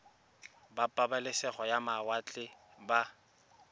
ba pabalesego ya mawatle ba